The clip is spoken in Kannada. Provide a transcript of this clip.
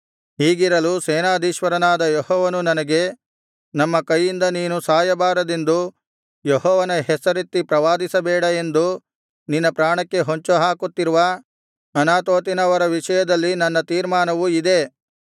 ಹೀಗಿರಲು ಸೇನಾಧೀಶ್ವರನಾದ ಯೆಹೋವನು ನನಗೆ ನಮ್ಮ ಕೈಯಿಂದ ನೀನು ಸಾಯಬಾರದೆಂದರೆ ಯೆಹೋವನ ಹೆಸರೆತ್ತಿ ಪ್ರವಾದಿಸಬೇಡ ಎಂದು ನಿನ್ನ ಪ್ರಾಣಕ್ಕೆ ಹೊಂಚುಹಾಕುತ್ತಿರುವ ಅನಾತೋತಿನವರ ವಿಷಯದಲ್ಲಿ ನನ್ನ ತೀರ್ಮಾನವು ಇದೇ